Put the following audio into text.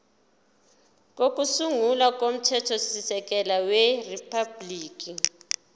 kokusungula komthethosisekelo weriphabhuliki